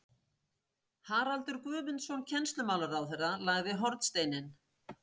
Haraldur Guðmundsson kennslumálaráðherra lagði hornsteininn